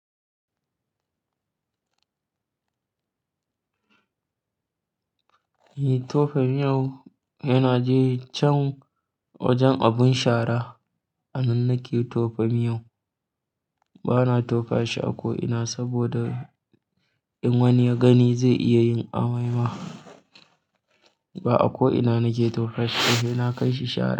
Tofa miyau he na je can wajen abin shara. A nan nake tofa miyon. Bana tofa shi a ko ina saboda in wani ya gani zai iya yin amai ma. Ba a ko ina nake tofa shi ba, se na kai shi shara.